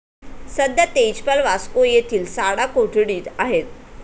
सध्या तेजपाल वास्को येथील साडा कोठडीत आहेत.